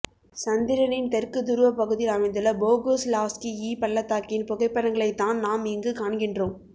சந்திரனின் தெற்கு துருவ பகுதியில் அமைந்துள்ள போகுஸ்லாவ்ஸ்கி இ பள்ளத்தாகின் புகைப்படங்களைத் தான் நாம் இங்கு காண்கின்றோம்